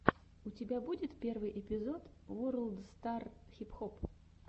у тебя будет первый эпизод ворлд стар хип хоп